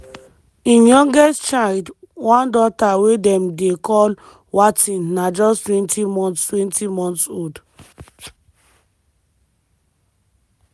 im youngest child - one daughter wey dem dey call wateen na justtwentymonthstwentymonths old.